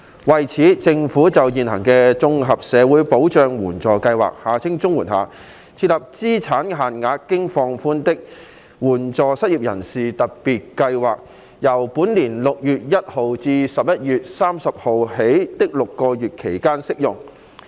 為此，政府在現行綜合社會保障援助計劃下，設立資產限額經放寬的"援助失業人士特別計劃"，由本年6月1日至11月30日的6個月期間適用。